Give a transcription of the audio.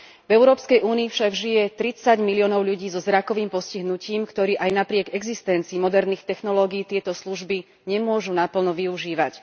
V Európskej únii však žije 30 miliónov ľudí so zrakovým postihnutím, ktorí aj napriek existencii moderných technológií tieto služby nemôžu naplno využívať.